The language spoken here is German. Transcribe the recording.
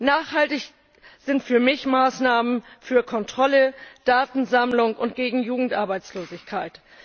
Nachhaltig sind für mich Maßnahmen für Kontrolle, Datensammlung und gegen Jugendarbeitslosigkeit.